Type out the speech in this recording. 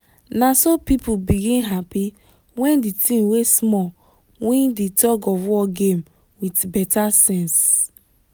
naso people begin happy when di team wey small win di tug of war game with beta sense